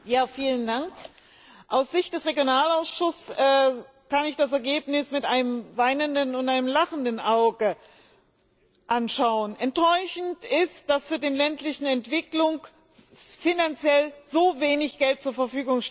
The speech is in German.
Frau Präsidentin! Aus Sicht des Regionalausschusses kann ich das Ergebnis mit einem weinenden und einem lachenden Auge anschauen. Enttäuschend ist, dass für die ländliche Entwicklung so wenig Geld zur Verfügung steht.